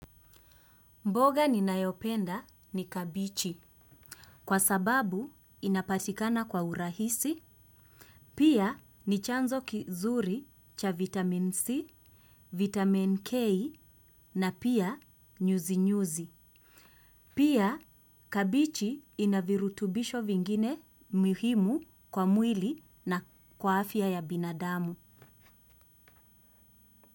Mboga ninayopenda ni kabichi kwa sababu inapatikana kwa urahisi, pia ni chanzo kizuri cha vitamin C, vitamin K na pia nyuzi-nyuzi. Pia kabichi ina virutubisho vingine muhimu kwa mwili na kwa afya ya binadamu.